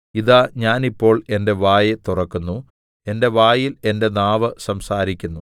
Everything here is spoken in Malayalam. ഇതാ ഞാൻ ഇപ്പോൾ എന്റെ വായ് തുറക്കുന്നു എന്റെ വായിൽ എന്റെ നാവ് സംസാരിക്കുന്നു